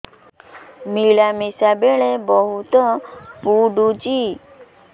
ମିଳାମିଶା ବେଳେ ବହୁତ ପୁଡୁଚି